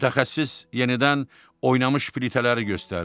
Mütəxəssis yenidən oynamış plitələri göstərdi.